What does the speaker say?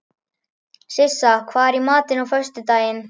Sissa, hvað er í matinn á föstudaginn?